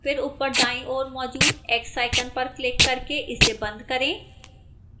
फिर ऊपर दाईं ओर मौजूद x icon पर क्लिक करके इसे बंद करें